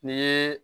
Ni ye